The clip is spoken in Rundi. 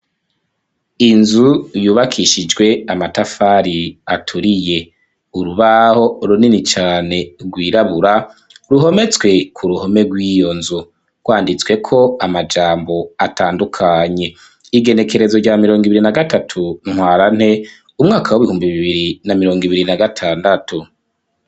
Inzu yubakishijwe amatafari aturiye urubaho runini cane gwirabura ruhometswe kuruhome gw'iyo nzu gwanditsweko amajambo atandukanye, igenekerezo rya mirongwibiri na gatatu ntwarante umwaka w'ibihumbi bibiri na mirongw'ibiri na gatandatu.